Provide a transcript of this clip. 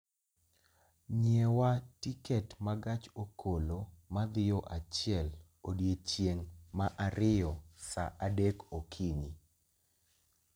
nyiewa tiket ma gach okolo ma dhi yo achiel odiechieng' ma ariyo saa adek okinyi